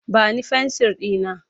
Ba ni fensir ɗina!